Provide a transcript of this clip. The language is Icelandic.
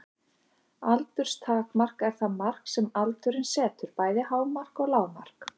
Aldurstakmark er það mark sem aldurinn setur, bæði hámark og lágmark.